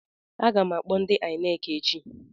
Aga m akpọ INEC echi.